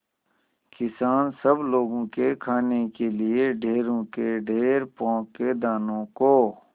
किसान सब लोगों के खाने के लिए ढेरों के ढेर पोंख के दानों को